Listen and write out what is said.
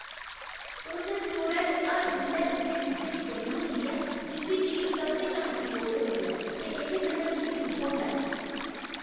तुं'दे स्टोरै च हर बेल्लै उ'नें चीजें दी कमी होंदी ऐ जिं'दी मिगी सभनें शा मती लोड़ होंदी ऐ ते एह्दे कन्नै मिगी दुख होंदा ऐ।